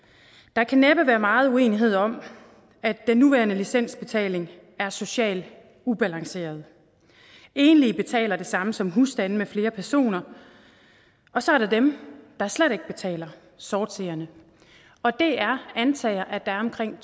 der kan næppe være meget uenighed om at den nuværende licensbetaling er socialt ubalanceret enlige betaler det samme som husstande med flere personer og så er der dem der slet ikke betaler sortseerne og det er antaget at der er omkring